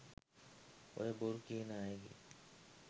"ඔය බොරු කියන අයගෙ